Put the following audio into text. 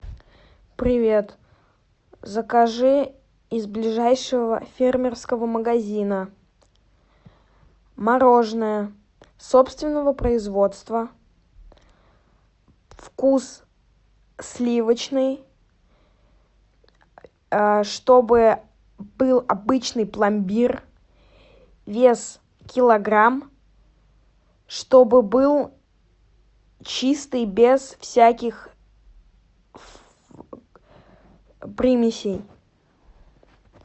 привет закажи из ближайшего фермерского магазина мороженое собственного производства вкус сливочный чтобы был обычный пломбир вес килограмм чтобы был чистый без всяких примесей